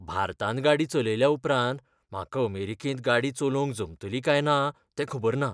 भारतांत गाडी चलयल्या उपरांत म्हाका अमेरिकेंत गाडी चलोवंक जमतली काय ना तें खबर ना.